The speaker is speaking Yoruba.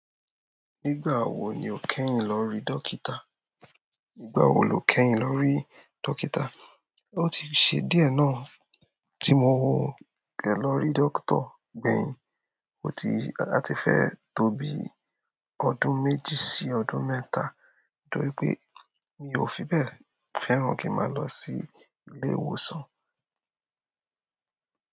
Nígbà wo ni o kẹ́yìn lọ rí dókítà? Nígbà wo lo kẹ́yìn lọ rí dókítà? O ti ṣe díẹ̀ náà tí modẹ lọ rí dókítà gbẹ̀yìn. O ti-- a ti fẹ́ tó bí ọdún méjì sí ọdún mẹ́ta, torí pé mi ò fi bẹ́ẹ̀ fẹ́ràn kí máa lọ sí ilé ìwòsàn.